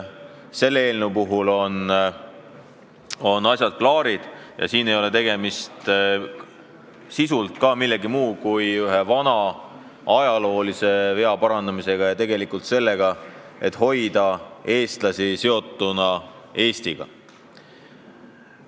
Selle eelnõu puhul aga ei ole tegemist millegi muuga kui ühe vana, ajaloolise vea parandamisega ja eesmärgiga hoida eestlasi Eestiga seotuna.